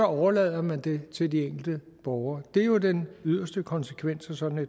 overlader man det til de enkelte borgere det er jo den yderste konsekvens af sådan